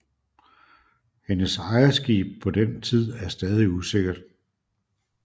Hendes ejerskib på den tid er stadig usikkert